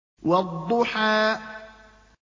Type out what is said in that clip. وَالضُّحَىٰ